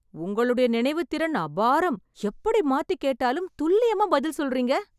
உங்களுடைய நினைவுத்திறன் அபாரம்! எப்படி மாத்தி கேட்டாலும் துல்லியமா பதில் சொல்றீங்க.